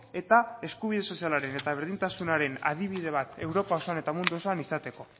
eta eskubide sozialaren eta berdintasunaren adibide bat europa osoan eta mundu osoan izateko